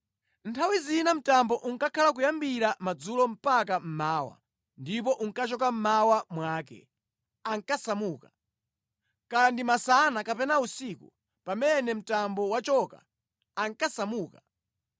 Nthawi zina mtambo unkakhala kuyambira madzulo mpaka mmawa ndipo unkachoka mmawa mwake, ankasamuka. Kaya ndi masana kapena usiku, pamene mtambo wachoka, ankasamuka.